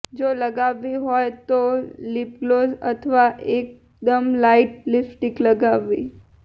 જો લગાવવી હોય તો લિપગ્લોસ અથવા એકદમ લાઇટ લિપસ્ટિક લગાવવી